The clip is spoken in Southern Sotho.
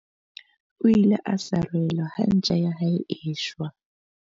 O ile a sarelwa ha ntja ya hae e shwa.